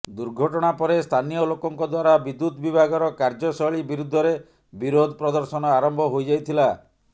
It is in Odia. ଦୁର୍ଘଟଣା ପରେ ସ୍ଥାନୀୟ ଲୋକଙ୍କ ଦ୍ୱାରା ବିଦ୍ୟୁତ ବିଭାଗର କାର୍ଯ୍ୟଶୈଳୀ ବିରୁଦ୍ଧରେ ବିରୋଧ ପ୍ରଦର୍ଶନ ଆରମ୍ଭ ହୋଇଯାଇଥିଲା